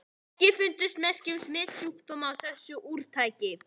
EKKI FUNDUST MERKI UM SMITSJÚKDÓMA Í ÞESSU ÚRTAKI.